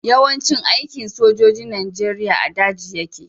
Yawan cin aikin sojojin nigeria a daji yake